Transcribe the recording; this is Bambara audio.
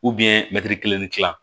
kelen ni kila